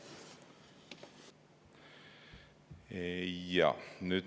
Jaa.